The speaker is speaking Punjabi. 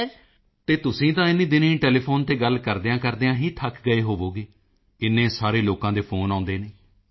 ਮੋਦੀ ਜੀ ਅਤੇ ਤੁਸੀਂ ਤਾਂ ਇਨ੍ਹੀਂ ਦਿਨੀਂ ਟੈਲੀਫੋਨ ਤੇ ਗੱਲ ਕਰਦਿਆਂਕਰਦਿਆਂ ਹੀ ਥੱਕ ਗਏ ਹੋਵੋਗੇ ਇੰਨੇ ਸਾਰੇ ਲੋਕਾਂ ਦੇ ਫੋਨ ਆਉਦੇ ਹਨ